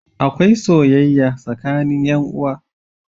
Akwai soyayya tsakanin yan uwa.